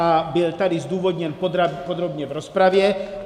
A byl tady zdůvodněn podrobně v rozpravě.